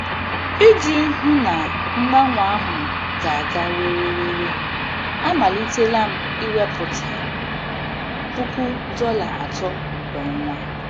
Iji hụ na mgbanwe ahụ ga-aga were were, amalitela m iwepụta puku dollar atọ kwa ọnwa.